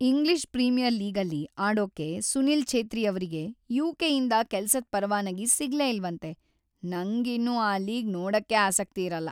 English Premier ಲೀಗಲ್ಲಿ ಆಡೋಕೆ ಸುನೀಲ್ ಛೇತ್ರಿಯವ್ರಿಗೆ ಯು.ಕೆ.ಯಿಂದ ಕೆಲ್ಸದ್ ಪರವಾನಗಿ ಸಿಗ್ಲೇ ಇಲ್ವಂತೆ, ನಂಗಿನ್ನು ಆ ಲೀಗ್‌ ನೋಡಕ್ಕೇ ಆಸಕ್ತಿಯಿರಲ್ಲ.